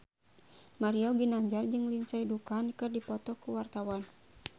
Mario Ginanjar jeung Lindsay Ducan keur dipoto ku wartawan